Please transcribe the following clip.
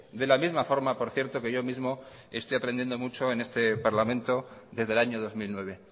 de la misma forma por cierto que yo mismo estoy aprendiendo mucho en este parlamento desde el año dos mil nueve